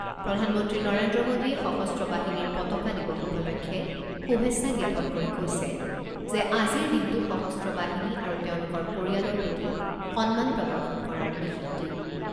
প্ৰধানমন্ত্ৰী নৰেন্দ্ৰ মোডীয়ে সশস্ত্ৰ বাহিনীৰ পতাকা দিৱস উপলক্ষে শুভেচ্ছা জ্ঞাপন কৰি কৈছে যে আজিৰ দিনটো সশস্ত্ৰ বাহিনী আৰু তেওঁলোকৰ পৰিয়ালৰ প্ৰতি সন্মান প্ৰদৰ্শন কৰাৰ বিশেষ দিন।